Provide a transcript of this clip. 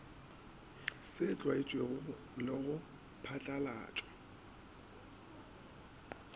se tlwaetšwego le go phatlalatšwa